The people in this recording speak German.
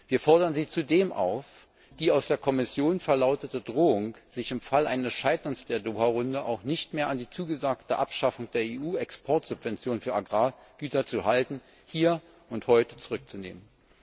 Wir fordern Sie zudem auf, die aus der Kommission verlautete Drohung, sich im Fall eines Scheiterns der Doha Runde auch nicht mehr an die zugesagte Abschaffung der EU Exportsubventionen für Agrargüter zu halten, hier und heute zurückzunehmen!